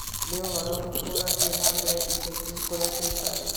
nĩ ũhoro ũrĩkũ ũrathiĩ na mbere ica ikuhĩ wa kũrĩa tũikaraga?